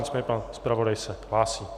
Nicméně pan zpravodaj se hlásí.